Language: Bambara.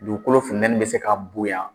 Dugukolo funtɛnin bɛ se ka bonya